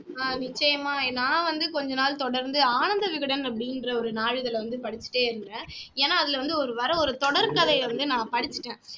ஆஹ் நிச்சயமா நான் வந்து கொஞ்ச நாள் தொடர்ந்து ஆனந்த விகடன் அப்படின்ற ஒரு நாளிதழல வந்து படிச்சுட்டே இருந்தேன் ஏன்னா அதுல வந்து ஒரு வர்ற ஒரு தொடர் கதையை வந்து படிச்சுட்டேன்